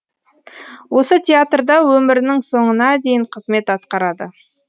осы театрда өмірінің соңына дейін қызмет атқарады